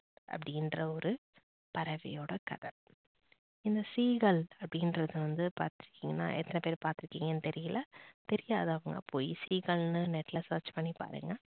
அப்படினுற ஒரு பறவையோட கதை. இந்த seegal அப்படிறத வந்து பாத்தீங்கன்னா எத்தனை பேர் பாத்து இருக்கீங்கன்னு தெரியல தெரியாதவங்க போய் seegal னு net ல search பண்ணி பாருங்க